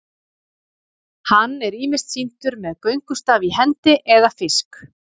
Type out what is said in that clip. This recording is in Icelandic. hann er ýmist sýndur með göngustaf í hendi eða fisk